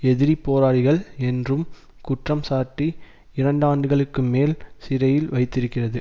எதிரி போராளிகள் என்றும் குற்றம் சாட்டி இரண்டாண்டுகளுக்குமேல் சிறையில் வைத்திருக்கிறது